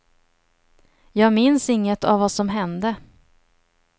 Jag minns inget av vad som hände.